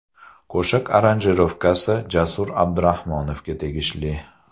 Qo‘shiq aranjirovkasi Jasur Abdurahmonovga tegishli.